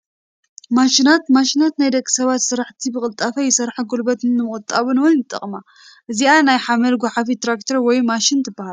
ማሽናት፡- ማሽናት ናይ ደቂ ሰባት ስራሕቲ ብቅልጣፈ ይሰርሓን ጉልበት ንምቑጣብ ውን ይጠቕማ፡፡ እዚኣ ናይ ሓመድ ጓሓፊት ትራክተር ወይ ማሽን ትባሃል፡፡